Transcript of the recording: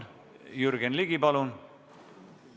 Jürgen Ligi, palun!